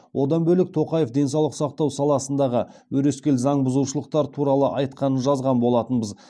одан бөлек тоқаев денсаулық сақтау саласындағы өрескел заң бұзушылықтар туралы айтқанын жазған болатынбыз